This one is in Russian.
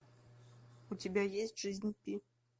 у тебя есть жизнь пи